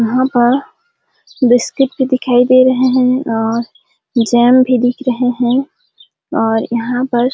यहाँ पर बिस्किट भी दिखाई दे रहे हैं और जैम भी दिख रहे हैं और यहाँ पर--